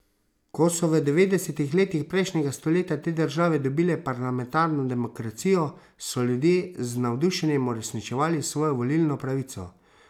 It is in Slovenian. Ko so v devetdesetih letih prejšnjega stoletja te države dobile parlamentarno demokracijo, so ljudje z navdušenjem uresničevali svojo volilno pravico.